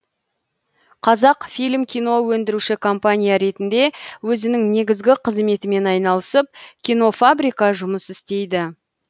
қазақфильм кино өндіруші компания ретінде өзінің негізгі қызметімен айналысып кинофабрика жұмыс істейді